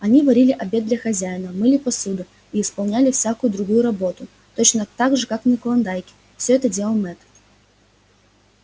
они варили обед для хозяина мыли посуду и исполняли всякую другую работу точно гак же как на клондайке все это делал мэтт